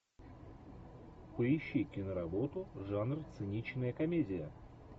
поищи киноработу жанр циничная комедия